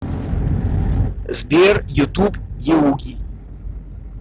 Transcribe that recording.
сбер ютуб еуги